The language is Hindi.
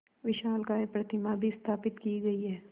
विशालकाय प्रतिमा भी स्थापित की गई है